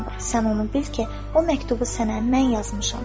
Sən onu bil ki, o məktubu sənə mən yazmışam."